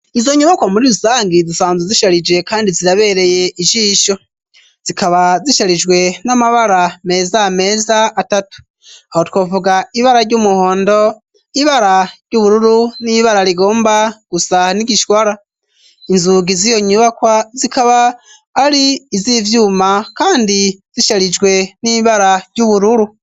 Izo nyubakwa muri ruzangi zisanzwe zisharije kandi zirabereye ijisho. Zikaba zisharijwe n'amabara meza meza atatu. Aho twovuga ibara ry'umuhondo, ibara ry'ubururu n'ibara rigomba gusa n'igishwara. Inzugi ziyo nyubakwa zikaba ari iz'ivyuma kandi zisharijwe n'ibara ry'ubururu.